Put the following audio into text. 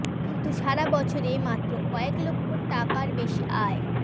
কিন্তু সারা বছরে মাত্র কয়েক লক্ষ টাকার বেশি আয়